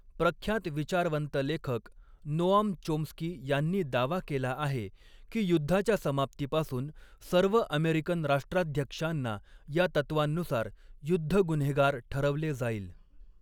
प्रख्यात विचारवंत लेखक, नोआम चोम्स्की यांनी दावा केला आहे की युद्धाच्या समाप्तीपासून सर्व अमेरिकन राष्ट्राध्यक्षांना या तत्त्वांनुसार युद्ध गुन्हेगार ठरवले जाईल.